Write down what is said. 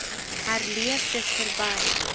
herleef dis verby